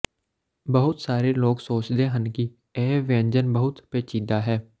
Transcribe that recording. ਬਹੁਤ ਸਾਰੇ ਲੋਕ ਸੋਚਦੇ ਹਨ ਕਿ ਇਹ ਵਿਅੰਜਨ ਬਹੁਤ ਪੇਚੀਦਾ ਹੈ